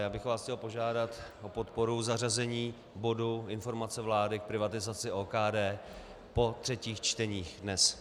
Já bych vás chtěl požádat o podporu zařazení bodu Informace vlády k privatizaci OKD po třetích čteních dnes.